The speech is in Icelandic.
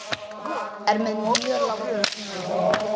Er með mjög langa tungu.